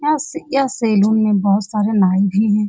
यह सै यह सैलून में बहुत सारे नाई भी हैं।